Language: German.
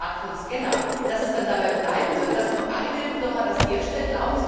eine bestimmte Art von Scannern, dann dabei bleiben wird, dass nur eine Firma das herstellt?